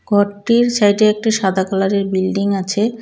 ঘরটির সাইডে একটি সাদা কালারের বিল্ডিং আছে.